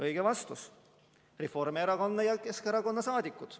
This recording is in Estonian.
Õige vastus: Reformierakonna ja Keskerakonna liikmed.